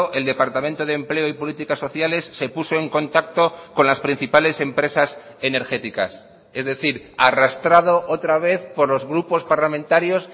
el departamento de empleo y políticas sociales se puso en contacto con las principales empresas energéticas es decir arrastrado otra vez por los grupos parlamentarios